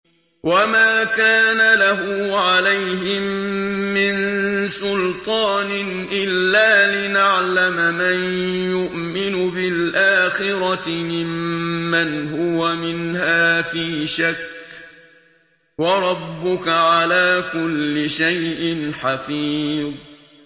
وَمَا كَانَ لَهُ عَلَيْهِم مِّن سُلْطَانٍ إِلَّا لِنَعْلَمَ مَن يُؤْمِنُ بِالْآخِرَةِ مِمَّنْ هُوَ مِنْهَا فِي شَكٍّ ۗ وَرَبُّكَ عَلَىٰ كُلِّ شَيْءٍ حَفِيظٌ